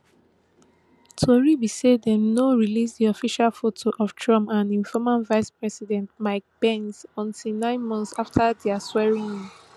tori be say dem no release di official foto of trump and im former vicepresident mike pence until nine months afta dia swearingin